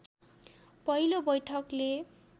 पहिलो बैठकले